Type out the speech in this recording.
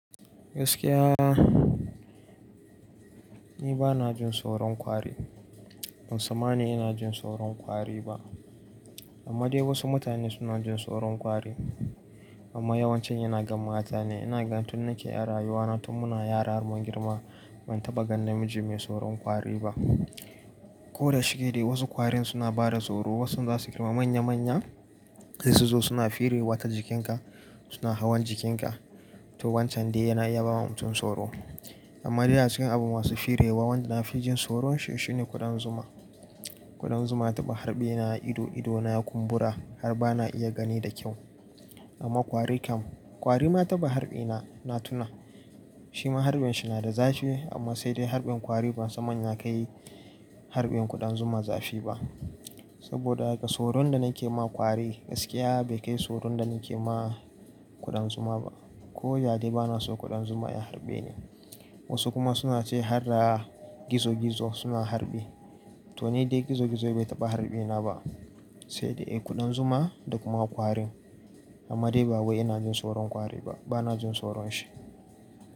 Gaskiya, ni ba na jin tsoron kwari. Ban san ma ni ina jin tsoron kwari ba. Amma dai wasu mutane suna jin tsoron kwari. Amma yawancin yana ga mata ne. Ina gan tun nake ɗan rayuwa na tun muna yara har mun girma ban taɓa gan namiji mai tsoron kwari ba. Ko da shike dai wasu kwarin suna bada tsoro. Wasu zasu girma manya manya sai su zo suna firewa ta jikinka, suna hawan jikinka to wancan dai yana iya bawa mutum tsoro. Amma dai a cikin abin masu firewa wanda na fi jin tsoron shi shine kuɗan zuma. Kuɗan zuma taɓa harɓe ni a ido ido na ya kumbura har ba na iya gani da kyau. Amma kwari kam kwari ma taɓa harɓe na, na tuna. Shima harɓin shi na da zafi amma sai dai harɓin kwari ban san manya kayi harɓen kuɗan zuma zafi ba. Saboda haka tsoron da nake ma kwari gaskiya bai kai tsoron da nake ma kuɗan zuma ba. Ko ya dai bana so kuɗan zuma ya harɓe ni. Wasu kuma suna ce har da gizo gizo suna harɓe to ni dai gizo gizo bai taɓa harɓi na ba. Sai dai kuɗan zuma da kuma kwarin. Amma dai ba wai ina jin tsoron kwari ba. Ba na jin tsoron shi.